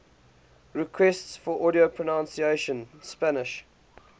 requests for audio pronunciation spanish